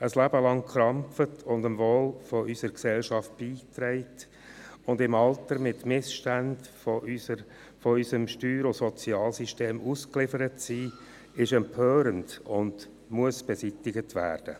Ein Leben lang gearbeitet und zum Wohl unserer Gesellschaft beigetragen zu haben, aber im Alter den Missständen von unserem Steuer- und Sozialsystem ausgeliefert zu sein ist empörend und muss beseitigt werden.